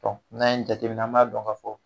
n'an ye nin jateminɛ an b'a dɔn k'a fɔ